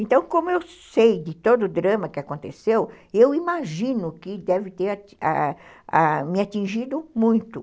Então, como eu sei de todo o drama que aconteceu, eu imagino que deve ter me atingido muito.